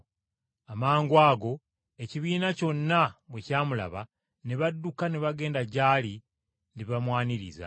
Amangwago ekibiina kyonna bwe kyamulaba, ne badduka ne bagenda gy’ali ne bamwaniriza.